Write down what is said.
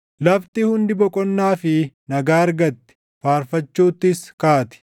Lafti hundi boqonnaa fi nagaa argatti; faarfachuuttis kaati.